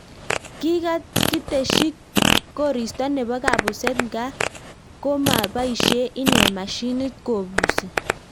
Kikakiteshii koristo neboo kabuseet ngaa komapaishee inee mashinit kobusii